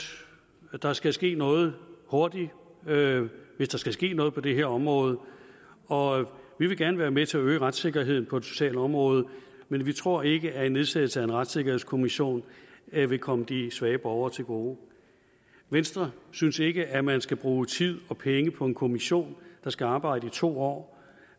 der skal ske noget hurtigt hvis der skal ske noget på det her område og vi vil gerne være med til at øge retssikkerheden på det sociale område men vi tror ikke at en nedsættelse af en retssikkerhedskommission vil komme de svage borgere til gode venstre synes ikke at man skal bruge tid og penge på en kommission der skal arbejde i to år